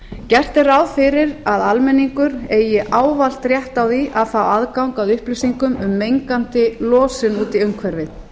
gert er ráð fyrir að almenningur eigi ávallt rétt á því að fá aðgang að upplýsingum um mengandi losun út í umhverfið